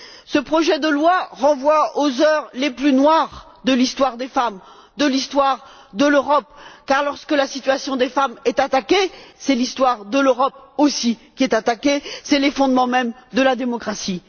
Ce projet de loi renvoie aux heures les plus noires de l'histoire des femmes, de l'histoire de l'Europe car, lorsque la situation des femmes est attaquée, c'est aussi l'histoire de l'Europe qui est attaquée, ce sont les fondements mêmes de la démocratie.